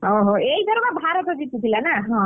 ଓହୋ ଏଇଥରକ ଭାରତ ଜିତିଥିଲା ନା? ହଁ,